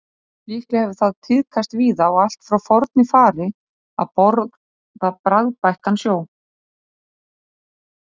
Líklega hefur það tíðkast víða og allt frá forni fari að borða bragðbættan snjó.